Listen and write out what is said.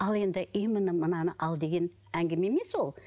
ал енді именно мынаны ал деген әңгіме емес ол